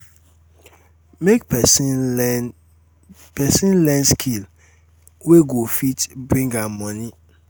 make persin learn persin learn skill wey go fit um bring am moni um